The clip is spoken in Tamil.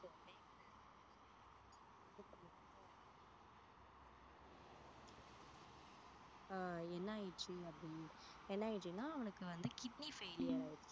ஆஹ் என்னாயிடுச்சுன்னா அப்படி என்னாயிடுச்சுன்னா அவனுக்கு வந்து kidney failure ஆயிடுச்சு